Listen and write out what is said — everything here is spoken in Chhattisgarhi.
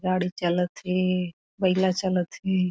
गाड़ी चलत थे बईला चलत थे।